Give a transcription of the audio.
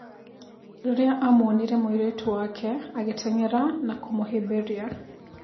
Rĩrĩa amuonire mũirĩtu wake agĩteng'era na kũmũhĩmbĩria